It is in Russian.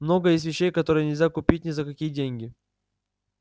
много есть вещей которые нельзя купить ни за какие деньги